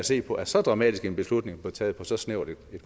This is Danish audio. se på at så dramatisk en beslutning blev taget på så snævert et